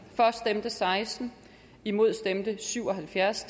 for stemte seksten imod stemte syv og halvfjerds